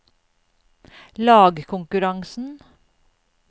lagkonkurransen